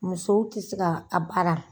Musow tɛ se ka a baara.